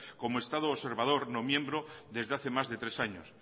como estado observador no miembro desde hace más de tres años